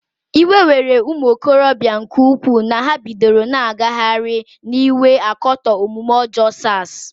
Iwe were ụmụokorobịa nke ukwuu na ha bidoro na-agagharị n'iwe akatọ omume ọjọọ SARs.